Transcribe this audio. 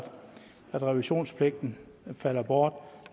revisionspligten falder bort